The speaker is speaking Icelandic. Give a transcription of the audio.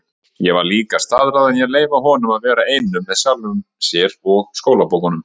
Ég var líka staðráðin í að leyfa honum að vera einum með sjálfum sér-og skólabókunum.